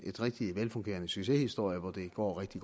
velfungerende succeshistorie hvor det går rigtig